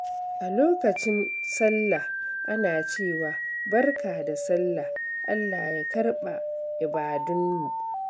A lokacin Sallah, ana cewa "Barka da Sallah, Allah ya karɓa ibadunmu."